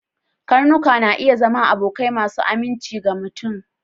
Karnuka na iya zama abokan mai aminci na mutum.